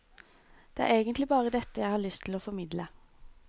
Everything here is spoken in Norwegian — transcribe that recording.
Det er egentlig bare dette jeg har lyst til å formidle.